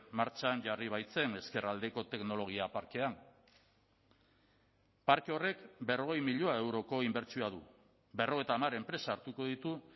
martxan jarri baitzen ezkerraldeko teknologia parkean parke horrek berrogei milioi euroko inbertsioa du berrogeita hamar enpresa hartuko ditu